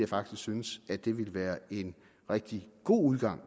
faktisk synes at det ville være en rigtig god udgang